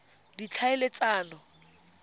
ditlhaeletsano